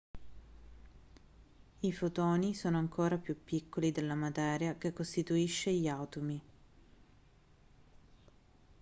i fotoni sono ancora più piccoli della materia che costituisce gli atomi